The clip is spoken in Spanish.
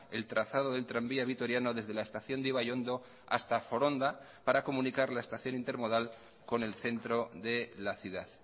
el trazado del tranvía vitoriano desde la estación de ibaiondo hasta foronda para comunicar la estación intermodal con el centro de la ciudad